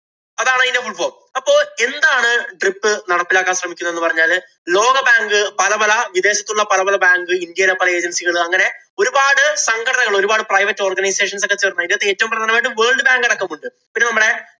അതാണ്‌ ഇതിന്‍റെ fullform. അപ്പൊ എന്താണ് DRIP നടപ്പിലാക്കാന്‍ ശ്രമിക്കുന്നു എന്ന് പറഞ്ഞാല് ലോക bank, പല പല വിദേശത്തുള്ള പല പല bank, ഇന്‍ഡ്യയിലെ പല agency കള്‍ അങ്ങനെ ഒരുപാട് സംഘടനകള്‍, ഒരുപാട് private organizations ഒക്കെ ചേര്‍ന്ന് ഇതിനകത്ത് ഏറ്റവും പ്രധാനമായിട്ടു world bank അടക്കം ഉണ്ട്. പിന്നെ നമ്മടെ